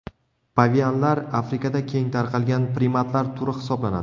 Pavianlar Afrikada keng tarqalgan primatlar turi hisoblanadi.